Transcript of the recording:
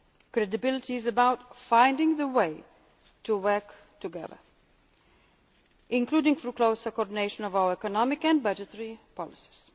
decisions. Credibility is about finding the way to work together including through closer coordination of our economic and budgetary